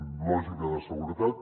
amb lògica de seguretat